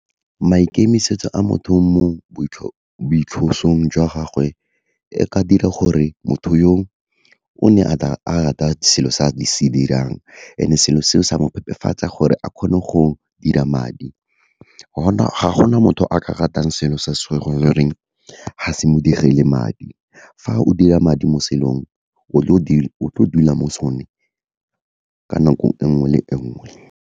Maikemisetso a motho mo jwa gagwe, e ka dira gore motho yo o ne a rata selo se a se dirang, and-e selo seo sa mo phepafatsa gore a kgone go dira madi. Gona ga gona motho a ka ratang selo se sa goreng ga se mo dirile madi, fa o dira madi mo selong o tlo dula mo sone, ka nako enngwe le enngwe.